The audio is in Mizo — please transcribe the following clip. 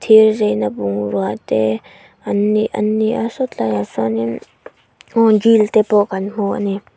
thir zai na bungrua te an an ni a saw tlai ah sawnin aww jeans te pawh kan hmu ani.